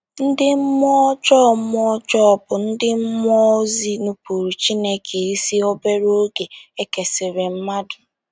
Ndị mmụọ ọjọọ mmụọ ọjọọ bụ ndị mmụọ ozi nupụụrụ Chineke isi obere oge e kesịrị mmadụ.